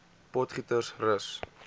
potgietersrus